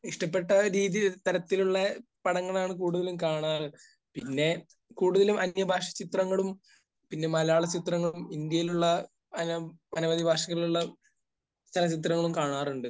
ഇഷ്ടപ്പെട്ട രീതി തരത്തിലുള്ള പടങ്ങളാണ് കൂടുതലും കാണാറ്. പിന്നെ കൂടുതലും അന്യഭാഷാചിത്രങ്ങളും പിന്നെ മലയാളചിത്രങ്ങളും ഇന്ത്യയിലുള്ള അന...അനവധി ഭാഷകളിലുള്ള ചലച്ചിത്രങ്ങളും കാണാറുണ്ട്.